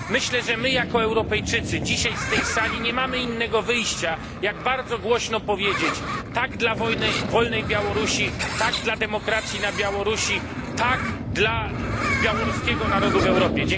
Myślę, że my jako Europejczycy zebrani dzisiaj w tej sali nie mamy innego wyjścia, jak bardzo głośno powiedzieć tak dla wolnej Białorusi, tak dla demokracji na Białorusi, tak dla białoruskiego narodu w Europie.